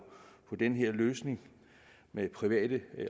den her løsning med private